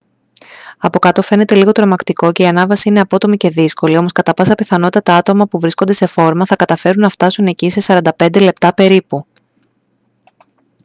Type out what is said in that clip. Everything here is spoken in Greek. από κάτω φαίνεται λίγο τρομακτικό και η ανάβαση είναι απότομη και δύσκολη όμως κατά πάσα πιθανότητα τα άτομα που βρίσκονται σε φόρμα θα καταφέρουν να φτάσουν εκεί σε 45 λεπτά περίπου